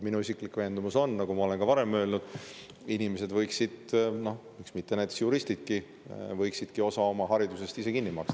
Minu isiklik veendumus on, nagu ma olen ka varem öelnud, et inimesed võiksid – miks mitte näiteks juristidki – osa oma haridusest ise kinni maksta.